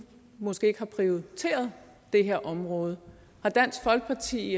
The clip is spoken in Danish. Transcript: måske ikke har prioriteret det her område har dansk folkeparti